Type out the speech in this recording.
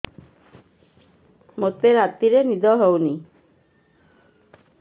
ମୋତେ ରାତିରେ ନିଦ ହେଉନି